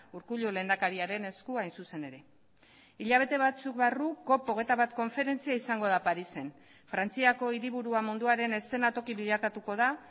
urkullu lehendakariaren esku hain zuzen ere hilabete batzuk barru cop hogeita bat konferentzia izango da parisen frantziako hiriburua munduaren eszenatoki bilakatuko da